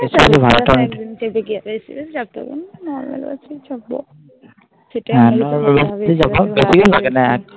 যত দিন যাবো